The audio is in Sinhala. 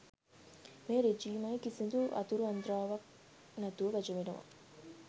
මේ රෙජීමය කිසිදු අතුරු අන්ත්‍රාවක් නැතුව වැජඹෙනවා